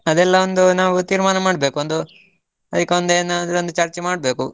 ಅದೆಲ್ಲ ಒಂದು ನಾವು ತೀರ್ಮಾನ ಮಾಡ್ಬೇಕು, ಒಂದು ಅದಕ್ಕೆ ಒಂದು ಏನಾದ್ರೂ ಒಂದು ಚರ್ಚೆ ಮಾಡ್ಬೇಕು.